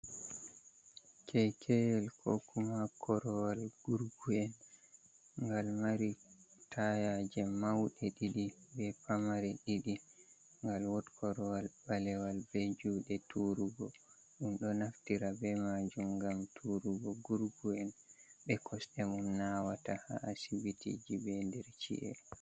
Keikeyel, kokuma korowal gurgu'en, ngal mari tayaje maude didi be pamare diɗi, ngal wot korowal balewal be jude turugo dum, do naftira be majum gam turugo gurgu'en be be kosde mum nawata ha asibitiji be der ci’e.